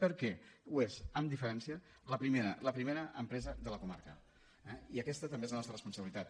perquè és amb diferència la primera la primera empresa de la comarca eh i aquesta també és la nostra responsabilitat